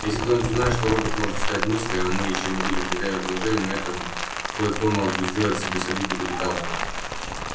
и если кто-нибудь узнает что робот может читать мысли а мы ещё не будем хозяевами положения на этом кое-кто мог бы сделать себе солидный капитал